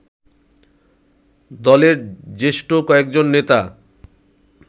দলের জ্যেষ্ঠ কয়েকজন নেতা